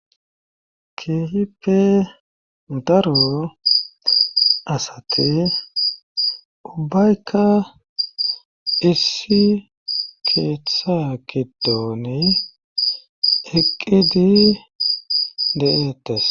Keehipe daro asati ubayka isi keeththa kidoone eqqidi de7etas.